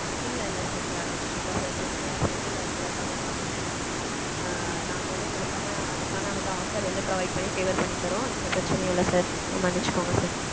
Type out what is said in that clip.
இல்ல இல்ல sir கண்டிப்பா sir எங்க side ல இருக்குற தவறுதான் இது. நாங்க வந்து உங்களுக்கான அதுக்கான வந்து offer வந்து provide பண்ணி favour பண்ணி தர்றோம். எந்த பிரட்சனையும் இல்ல sir. மன்னிச்சிக்கோங்க sir.